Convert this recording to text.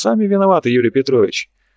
сами виноваты юрий петрович